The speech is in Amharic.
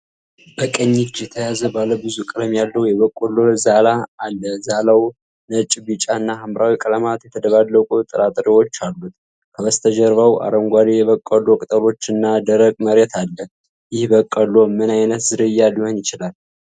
በቀኝ እጅ የተያዘ ባለ ብዙ ቀለም ያለው የበቆሎ ዛላ አለ። ዛላው ነጭ፣ ቢጫ እና ሐምራዊ ቀለማት የተደባለቁ ጥራጥሬዎች አሉት። ከበስተጀርባው አረንጓዴ የበቆሎ ቅጠሎች እና ደረቅ መሬት አለ። ይህ በቆሎ ምን ዓይነት ዝርያ ሊሆን ይችላል?